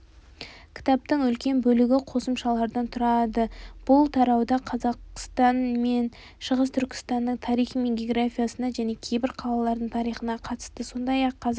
кітаптың үлкен бөлігі қосымшалардан тұрады бұл тарауда қазақстан мен шығыс түркістанның тарихы мен географиясына және кейбір қалалардың тарихына қатысты сондай-ақ қазақ